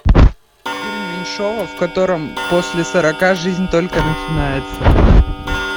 фильм меньшова в котором после сорока жизнь только начинается